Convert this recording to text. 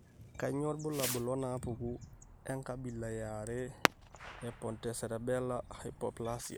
Kainyio irbulabul onaapuku enkabila eare ePontocerebellar hypoplasia?